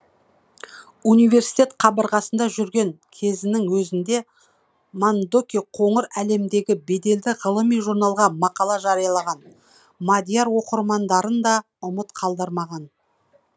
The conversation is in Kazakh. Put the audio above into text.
университет қабырғасында жүрген кезінің өзінде мандоки қоңыр әлемдегі беделді ғылыми журналға мақала жариялаған мадияр оқырмандарын да ұмыт қалдырмаған